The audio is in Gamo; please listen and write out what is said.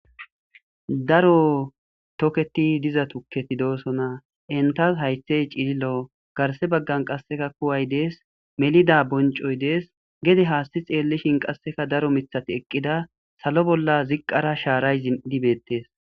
Daro tokeththi diza thukkethi de7oosona; henththas hayththay cililo; garssa baggen qassikka kuway de7ees; melida bonccoy de7ees; gede haassi tseellishin qassika daro miththathi eqqida; salo bolla ziqqara shaaray zin7idi beeththees.